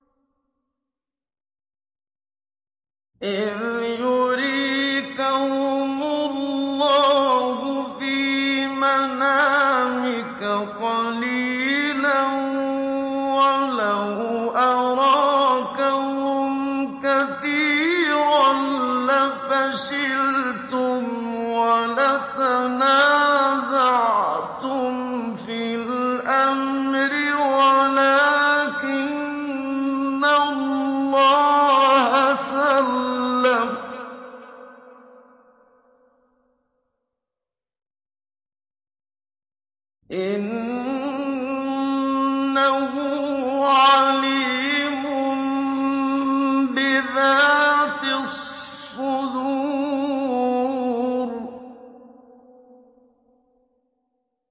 إِذْ يُرِيكَهُمُ اللَّهُ فِي مَنَامِكَ قَلِيلًا ۖ وَلَوْ أَرَاكَهُمْ كَثِيرًا لَّفَشِلْتُمْ وَلَتَنَازَعْتُمْ فِي الْأَمْرِ وَلَٰكِنَّ اللَّهَ سَلَّمَ ۗ إِنَّهُ عَلِيمٌ بِذَاتِ الصُّدُورِ